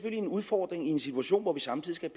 en udfordring i en situation hvor vi samtidig skal